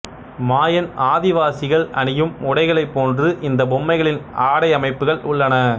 மாயன் ஆதிவாசிகள் அணியும் உடைகளைப் போன்று இந்தப் பொம்மைகளின் ஆடையமைப்புகள் உள்ளன